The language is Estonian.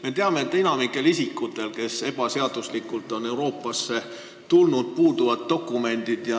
Me teame, et enamikul isikutel, kes on ebaseaduslikult Euroopasse tulnud, puuduvad dokumendid.